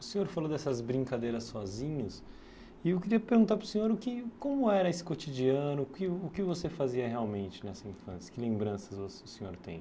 O senhor falou dessas brincadeiras sozinhos, e eu queria perguntar para o senhor o que como era esse cotidiano, o que o que você fazia realmente nessa infância, que lembranças vo o senhor tem?